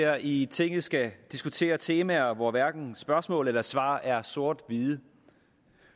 her i tinget skal diskutere temaer hvor hverken spørgsmål eller svar er sort hvide